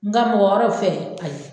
Nga mɔgɔ wɛrɛw fɛ ayi